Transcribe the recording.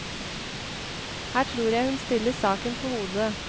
Her tror jeg hun stiller saken på hodet.